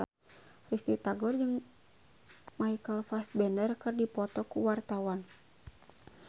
Risty Tagor jeung Michael Fassbender keur dipoto ku wartawan